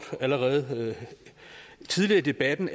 allerede tidligere i debatten